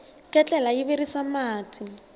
ketlela yi virisa mati